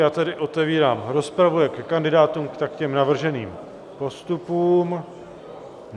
Já tedy otevírám rozpravu jak ke kandidátům, tak k navrženým postupům.